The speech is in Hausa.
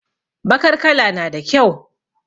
Bakar kala nada kyau